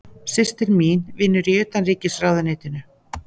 Systir mín vinnur í Utanríkisráðuneytinu.